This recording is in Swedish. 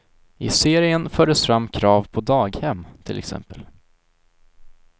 I serien fördes fram krav på daghem, till exempel.